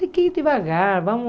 Tem que ir devagar. Vamos